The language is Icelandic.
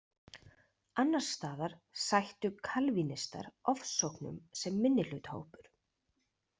Annars staðar sættu kalvínistar ofsóknum sem minnihlutahópur.